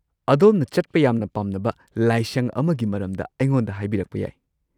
ꯑꯗꯣꯝꯅ ꯆꯠꯄ ꯌꯥꯝꯅ ꯄꯥꯝꯅꯕ ꯂꯥꯏꯁꯪ ꯑꯃꯒꯤ ꯃꯔꯝꯗ ꯑꯩꯉꯣꯟꯗ ꯍꯥꯏꯕꯤꯔꯛꯄ ꯌꯥꯏ꯫